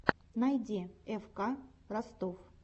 найди фк ростов